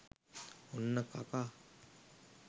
ඔන්න කකා